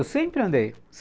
Eu sempre andei.